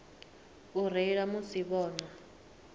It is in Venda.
u reila musi vho nwa